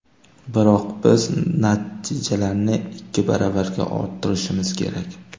Biroq biz natijalarni ikki baravarga orttirishimiz kerak.